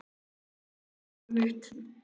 Fengur, opnaðu dagatalið mitt.